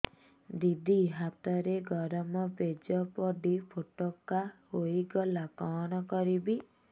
ଦିଦି ହାତରେ ଗରମ ପେଜ ପଡି ଫୋଟକା ହୋଇଗଲା କଣ କରିବି